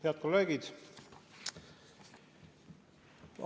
Head kolleegid!